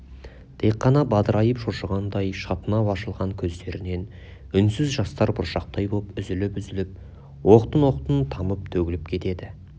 тек қана бадырайып шошығандай шатынап ашылған көздерінен үнсіз жастар бұршақтай боп үзіліп-үзіліп оқтын-оқтын тамып төгіліп кетеді